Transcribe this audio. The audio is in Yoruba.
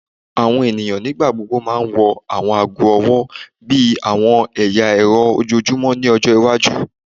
Awọn eniyan nigbagbogbo ma wọ awọn aago ọwọ bi awọn ẹya ẹrọ ojoojumọ ni ọjọ iwaju